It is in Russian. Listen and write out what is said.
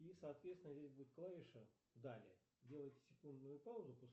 и соответственно здесь будет клавиша далее делаете секундную паузу